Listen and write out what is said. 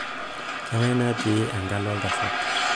kangae natii ekalo oltasat